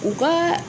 U ka